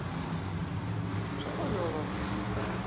swa olova ku xi hlaya